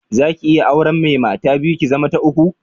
Zaki iya auren mai mata biyu, ki zama ta uku?